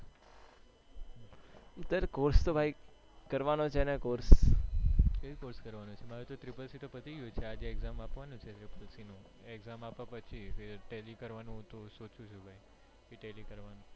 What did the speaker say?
કયો course કરવાનો ચો મેં તો ટ્રિપલ સિતાર પતિ ગયું છે હજુ exam આપવાની છે exam આપ પછી telly કરવાનું ભાઈ સોચુ છું ભાઈ સુ telly કરવાનું.